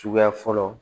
Suguya fɔlɔ